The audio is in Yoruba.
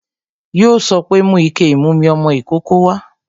Yo sọ pé "Mú ike ìmumi ọmọ ìkókó wá"